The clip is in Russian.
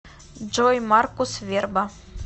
джой маркус верба